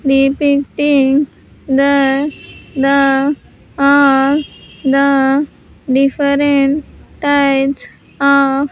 Depicting that the are the different types of.